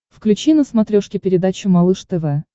включи на смотрешке передачу малыш тв